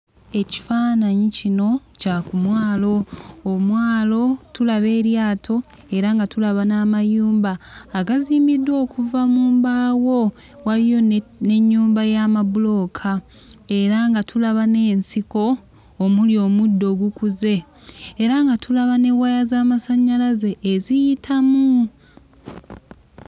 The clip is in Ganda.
Ekifaananyi kino kya ku mwalo. Omwalo tulaba eryato era nga tulaba n'amayumba agazimbiddwa okuva mu mbaawo, waliyo ne n'ennyumba y'amabulooka era nga tulaba n'ensiko omuli omuddo ogukuze era nga tulaba ne waya z'amasannyalaze eziyitamu.